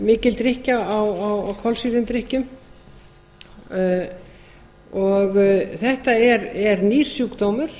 mikil drykkja á kolsýrðum drykkjum þetta er nýr sjúkdómur